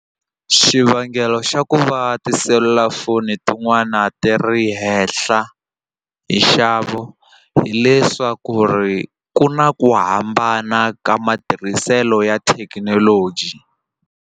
Xivangelo xa ku va tiselulafoni tin'wana ti ri henhla hi nxavo hileswaku ri ku na ku hambana ka matirhiselo ya thekinoloji.